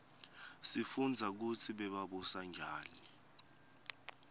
sifunbza kutsi bebabusa njani